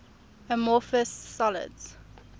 amorphous solids